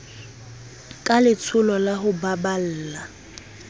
ka letsholo la ho baballa